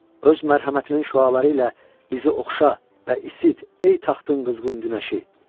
Öz mərhəmətinin şüaları ilə bizi oxşa və isit, ey taxtın qızğın günəşi.